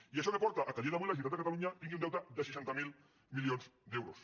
i això què porta que a dia d’avui la generalitat de catalunya tingui un deute de seixanta miler milions d’euros